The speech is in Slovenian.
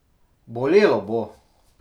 Bolelo bo!